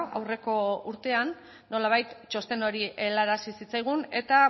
aurreko urtean nolabait txosten hori helarazi zitzaigun eta